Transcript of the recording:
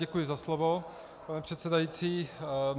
Děkuji za slovo, pane předsedající.